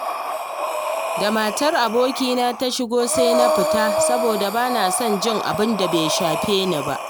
Da matar abokina ta shigo sai na fita saboda ba na son jin abun da bai shafe ni ba